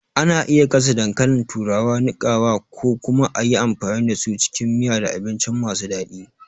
Ana iya gasa dankalin turawa, niƙawa, ko kuma a yi amfani da su cikin miya da abinci masu daɗi.